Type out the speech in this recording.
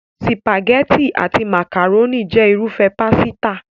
Sìpàgẹ́tì àti màkàrónì jẹ́ irúfẹ́ pásítà.